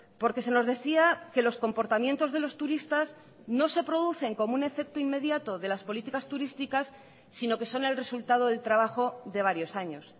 porque se nos decía que los comportamientos de los turistas no se producen como un efecto inmediato de las políticas turísticas sino que son el resultado del trabajo de varios años